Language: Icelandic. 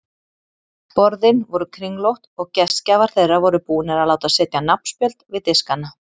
Borðin voru kringlótt og gestgjafar þeirra voru búnir að láta setja nafnspjöld við diskana.